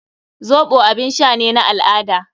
Zoɓo abin sha ne na al-ada.